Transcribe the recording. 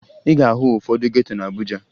Ị ga-ahụ ụfọdụ geto na Abuja